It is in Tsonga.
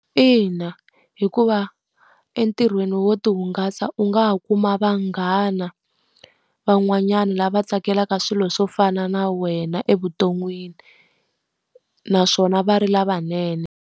Ina hikuva entirhweni wo ti hungasa u nga ha kuma vanghana van'wanyana lava tsakelaka swilo swo fana na wena evuton'wini, naswona va ri lavanene.